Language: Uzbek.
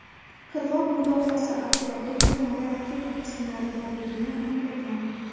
Qirg‘oq mudofaasi otryadi kemada raketa qismlari borligini aniqlagan.